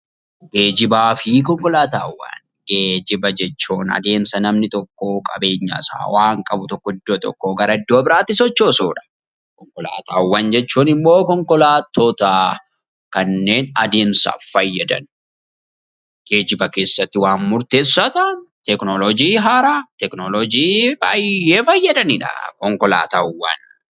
Geejjiba jechuun adeemsa namni tokko qabeenyasaa waan qabu tokko iddoo tokkoo gara iddoo biraatti sochoosudha. Konkolaataawwan jechuun immoo konkolaattota kanneen adeemsaaf fayyadan, geejjiba keessatti waan murteessaa ta'an, teekinooloojii haaraa, teekinooloojii baay'ee fayyadanidha konkolaataawwan.